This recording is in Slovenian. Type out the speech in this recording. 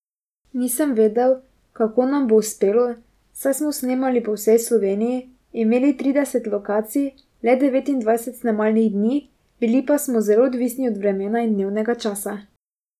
Nisem vedel, kako nam bo uspelo, saj smo snemali po vsej Sloveniji, imeli trideset lokacij, le devetindvajset snemalnih dni, bili pa smo zelo odvisni od vremena in dnevnega časa.